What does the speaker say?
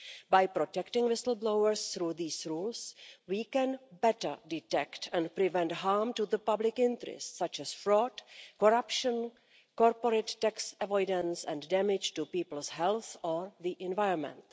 By protecting whistle blowers through these rules, we can better detect and prevent harm to the public interest such as fraud, corruption, corporate tax avoidance and damage to people's health or the environment.